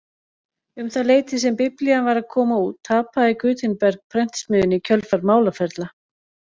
Um það leyti sem biblían var að koma út tapaði Gutenberg prentsmiðjunni í kjölfar málaferla.